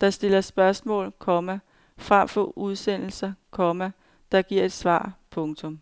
der stiller spørgsmål, komma frem for udsendelser, komma der giver svar. punktum